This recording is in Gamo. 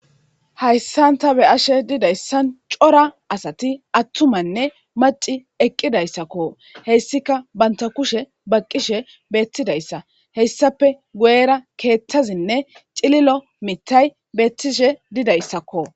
hayssanta be ashe didayssan cora asati attumanne maci eqqidayssakko hessika banta kushe baqqishe beettidayssa heyssape guera keetthazinne cililo mitay beettishe didayssakko